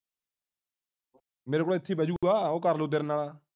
ਮੇਰੇ ਨਾਲ ਇੱਥੇ ਹੀ ਬੈਹ ਜਾਊਗਾ ਕਰ ਲਊਂਗਾ ਤੇਰੇ ਨਾਲ